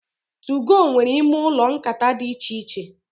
2go nwere ime ụlọ nkata dị íchè iche.